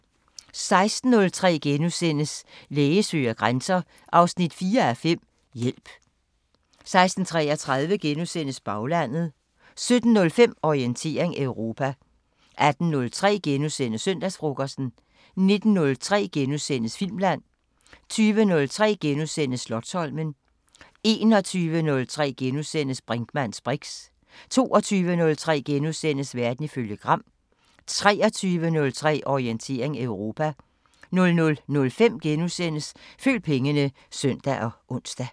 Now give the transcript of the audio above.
16:03: Læge søger grænser 4:5 – Hjælp * 16:33: Baglandet * 17:05: Orientering Europa 18:03: Søndagsfrokosten * 19:03: Filmland * 20:03: Slotsholmen * 21:03: Brinkmanns briks * 22:03: Verden ifølge Gram * 23:03: Orientering Europa 00:05: Følg pengene *(søn og ons)